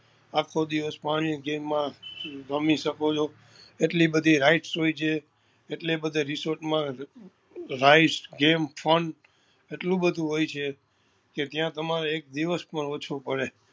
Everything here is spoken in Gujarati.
આખો દિવસ પાણી ની game માં રમી શકો છો એટલી બધી rides હોય છે એટલી બધી resort માં rides game fun એટલું બધું હોય છે કે ત્યાં તમરો એક દિવસ પણ ઓછો પડે